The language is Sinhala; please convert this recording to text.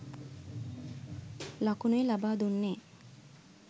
ලකුණුයි ලබා දුන්නෙ.